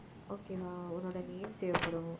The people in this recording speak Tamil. okay வா உன்னோட name தேவைப்படும்